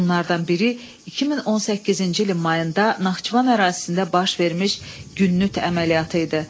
Bunlardan biri 2018-ci ilin mayında Naxçıvan ərazisində baş vermiş Günnüt əməliyyatı idi.